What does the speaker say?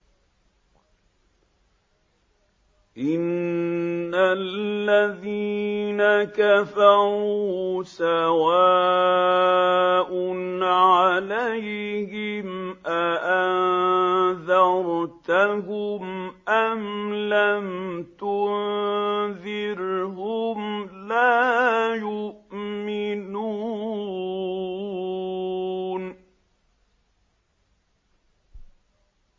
إِنَّ الَّذِينَ كَفَرُوا سَوَاءٌ عَلَيْهِمْ أَأَنذَرْتَهُمْ أَمْ لَمْ تُنذِرْهُمْ لَا يُؤْمِنُونَ